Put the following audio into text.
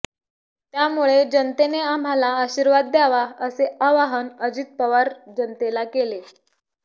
त्यामुळे जनतेने आम्हाला आशिर्वाद द्यावा असे आवाहन अजित पवार जनतेला केले